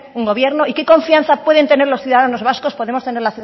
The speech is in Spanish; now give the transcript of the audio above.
un gobierno y qué confianza pueden tener los ciudadanos vascos podemos tener